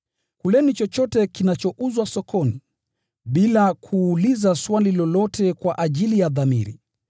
Kuleni chochote kinachouzwa sokoni, bila kuuliza swali lolote kwa ajili ya dhamiri.